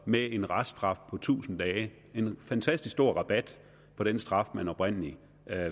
med en reststraf på tusind dage altså en fantastisk stor rabat på den straf han oprindelig